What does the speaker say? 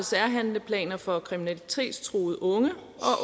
særhandleplaner for kriminalitetstruede unge